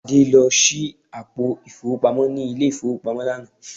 Adé lọ ṣí àpò ìfowópamọ́ ní ilé-ìfowópamọ́ lánàá